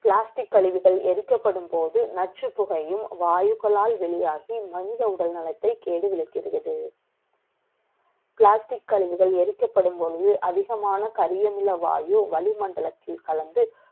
plastic கழிவுகள் எரிக்கப்படும் ப ொழுது, அதிகமான கரியமில வாயு வளிமண்டலத்தில் கலந்து,